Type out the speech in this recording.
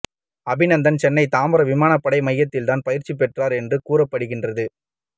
அபிநந்தன் சென்னை தாம்பரம் விமானப்படை மையத்தில்தான் பயிற்சி பெற்றார் என்றும் கூறப்படுகின்றது